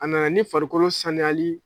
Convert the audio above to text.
A na na ni farikolo sanuyali